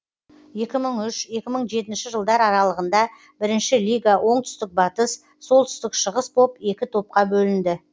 екі мың үш екі мың жетінші жылдар аралығында бірінші лига оңтүстік батыс солтүстік шығыс боп екі топқа бөлінді